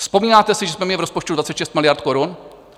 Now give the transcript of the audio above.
Vzpomínáte si, že jsme měli v rozpočtu 26 miliard korun?